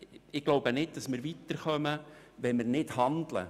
Ich glaube nicht, dass wir weiterkommen, wenn wir nicht handeln.